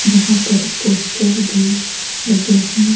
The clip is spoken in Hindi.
जहां पर पोस्टर भी लगे हैं।